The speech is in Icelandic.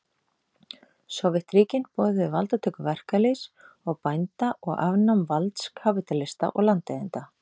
Sovétríkin boðuðu valdatöku verkalýðs og bænda og afnám valds kapítalista og landeigenda.